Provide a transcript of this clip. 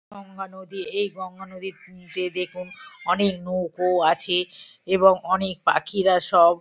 গঙ্গা নদী। এই গঙ্গা নদী উম তে দেখুন অনেক নৌকো আছে এবং অনেক পাখিরা সব ।